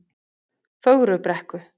Fögrubrekku